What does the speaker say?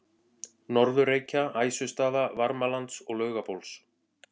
Norður-Reykja, Æsustaða, Varmalands og Laugabóls.